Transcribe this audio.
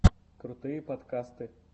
крутые подкасты